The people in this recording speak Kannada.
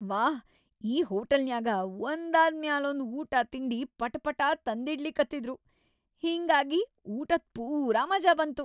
ವಾಹ್‌, ಈ ಹೋಟಲನ್ಯಾಗ ಒಂದಾದ್‌ ಮ್ಯಾಲೊಂದ್‌ ಊಟಾ ತಿಂಡಿ ಪಟಾಪಾಟಾ ತಂದಿಡ್ಲಿಕತ್ತಿದ್ರು; ಹಿಂಗಾಗಿ ಊಟದ್‌ ಪೂರಾ ಮಜಾ ಬಂತು.